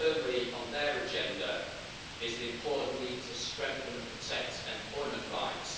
firmly on their agenda is the important need to strengthen and protect employment rights.